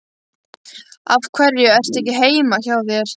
Af hverju ertu ekki heima hjá þér?